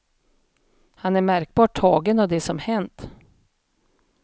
Han är märkbart tagen av det som hänt.